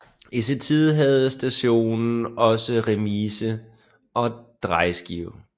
I sin tid havde stationen også remise og drejeskive